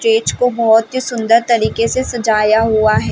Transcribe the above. Stage को बहुत ही सुन्दर तरीके से सजाया हुआ है।